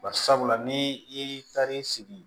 Barisabula ni i taar'i sigi